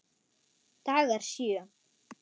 Dagar sjö